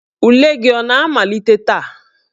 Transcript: Ule gị ọ ga-amalite taa?